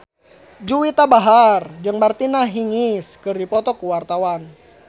Juwita Bahar jeung Martina Hingis keur dipoto ku wartawan